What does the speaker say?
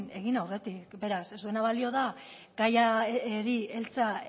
egin aurretik beraz ez duena balio da gaiari heltzea